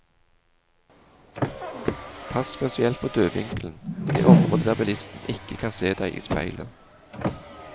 Pass spesielt på dødvinkelen, det området der bilisten ikke kan se deg i speilet.